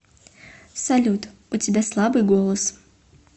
салют у тебя слабый голос